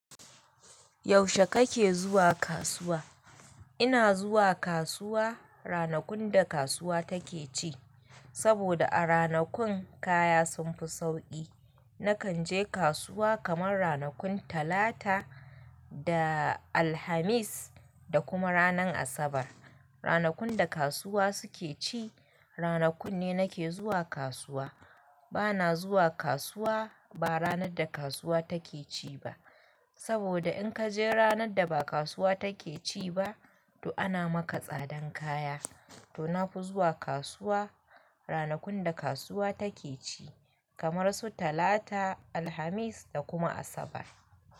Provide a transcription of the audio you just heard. Yaushe kake zuwa kasuwa? Ina zuwa kasuwa ranakun da kasuwa take ci saboda a ranakun kaya sun fi sauƙi. Nakan je kasuwa kamar ranakun Talata da Alhamis da kuma ranar Asabar. Ranakun da kasuwa suke ci, ranakun ne nake zuwa kasuwa. Bana zuwa kasuwa ba ranar da kasuwa take ci ba saboda in kaje ranar da ba kasuwa take ci ba, to ana maka tsadan kaya. To na fi zuwa kasuwa ranakun da kasuwa take ci kamar su Talata, Alhamis da kuma Asabar.